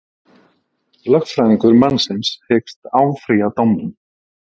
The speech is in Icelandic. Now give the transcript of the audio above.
Lögfræðingur mannsins hyggst áfrýja dómnum